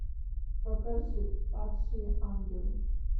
покажи падшие ангелы